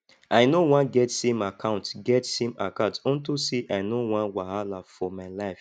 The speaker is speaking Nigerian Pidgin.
i no wan get same account get same account unto say i no wan wahala for my life